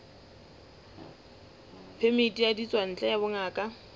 phemiti ya ditswantle ya bongaka